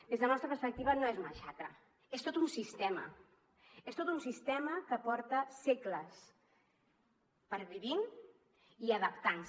des de la nostra perspectiva no és una xacra és tot un sistema és tot un sistema que porta segles pervivint i adaptant se